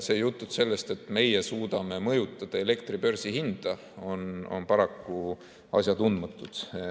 Jutud sellest, et meie suudame mõjutada elektri börsihinda, on paraku asjatundmatud.